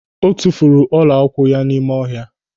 O tufuru ọla ụkwụ ya n'ime ọha.